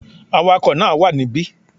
Awakò náà wà níbí